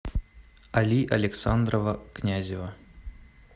али александрова князева